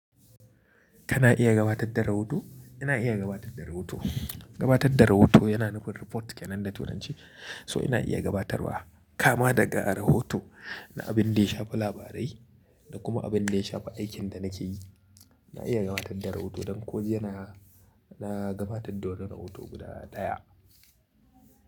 Kana iya gabatar da rohoto? Ina iya gabatar da rahoto. Gabatar da rahoto yana nufin report ke nan da tunanci so ina iya gabatarwa kama daga rohoto na abin da ya shafa labarai da kuma abin da ya shafi aikin da nake yi. Na iya gabatar da rohoto don ko jiya, na gabatar da wani rohoto guda ɗaya.